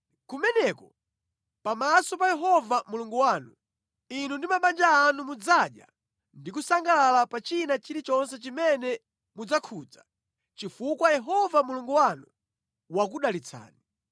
Kumeneko, pamaso pa Yehova Mulungu wanu, inu ndi mabanja anu mudzadya ndi kusangalalako pa china chilichonse chimene mudzakhudza, chifukwa Yehova Mulungu wanu wakudalitsani.